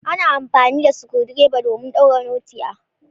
Ana amfani da Sukundirba domin daure notti ah.